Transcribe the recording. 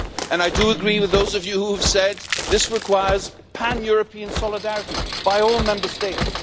And I do agree with those of you who have said that this requires pan European solidarity by all Member States.